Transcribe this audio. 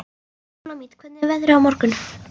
Súlamít, hvernig er veðrið á morgun?